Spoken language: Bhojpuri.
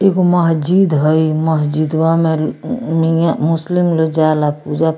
एगो महजिद है ई महजिदवा में मियाँ मुस्लिम लोग जाला पुजा --